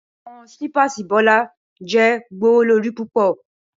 Awọn slippers Bola jẹ gbowolori pupọ